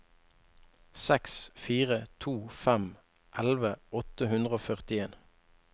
seks fire to fem elleve åtte hundre og førtien